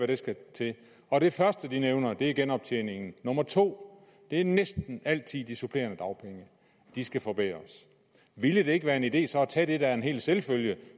der skal til og det første de nævner er genoptjeningen nummer to er næsten altid de supplerende dagpenge de skal forbedres ville det ikke være en idé så at tage det der er en hel selvfølge